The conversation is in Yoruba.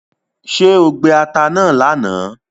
ṣe o gbé atá náa lànà?